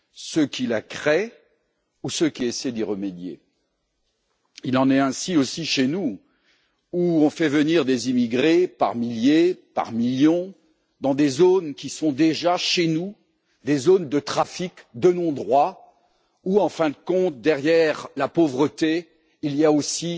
Ceux qui la créent ou ceux qui essaient d'y remédier? Il en est ainsi aussi chez nous, où l'on fait venir des immigrés par milliers, voire par millions dans des zones qui sont déjà des zones de trafic, de non droit, où, en fin de compte, derrière la pauvreté, il y a aussi